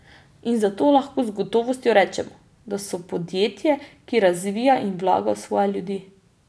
In zato lahko z gotovostjo rečemo, da so podjetje, ki razvija in vlaga v svoje ljudi.